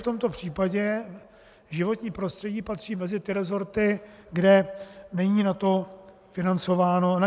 V tomto případě životní prostředí patří mezi ty resorty, kde není na to rozpočtováno nic.